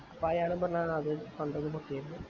അപ്പൊ അയാള്‍ പറഞ്ഞ് ആദ്യേ fund